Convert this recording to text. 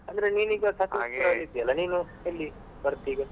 ಅಂದ್ರೆ ನೀನ್ ಈಗ Sakleshpura ಅಲ್ಲಿ ಇದ್ದೀಯಲ್ಲ, ಅಂದ್ರೆ ನೀನು ಎಲ್ಲಿ ಬರ್ತಿ ಈಗ?